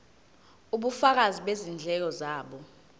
ubufakazi bezindleko zabo